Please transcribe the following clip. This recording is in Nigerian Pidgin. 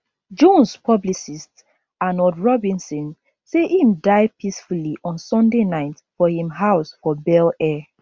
jones publicist arnold robinson say im die peacefully on sunday night for im house for bel air